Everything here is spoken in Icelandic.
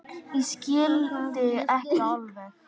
Ég skildi ekki alveg.